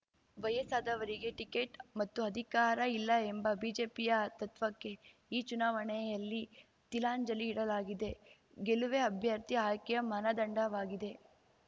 ವಯಸ್ಸಾದವರಿಗೆ ಟಿಕೆಟ್ ಮತ್ತು ಅಧಿಕಾರ ಇಲ್ಲ ಎಂಬ ಬಿಜೆಪಿಯ ತತ್ವಕ್ಕೆ ಈ ಚುನಾವಣೆಯಲ್ಲಿ ತೀಲಾಂಜಲಿ ಇಡಲಾಗಿದೆ ಗೆಲುವೇ ಅಭ್ಯರ್ಥಿ ಆಯ್ಕೆಯ ಮಾನದಂಡವಾಗಿದೆ